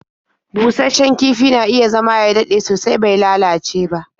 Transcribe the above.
Busasshen kifi na iya zama ya dade sosai bai lalace ba.